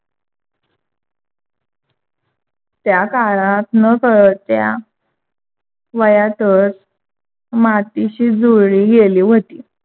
त्या काळात नकळत्या वयातच मातीशी जुळली गेली होती.